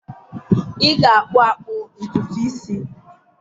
ị ga-akpụ akpụ ntutu isi.